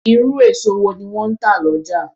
Irú èso wọ́n ni wọn ń tà lọ́jà